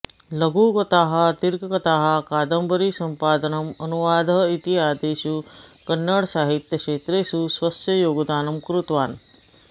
लघुकथाः दीर्घकथाः कादम्बरीसम्पादनम् अनुवादः इत्यादिषु कन्नडसाहित्यक्षेत्रेषु स्वस्य योगदानं कृतवान्